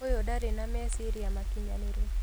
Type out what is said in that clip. ũyũ ndarĩ na meciria makinyanĩru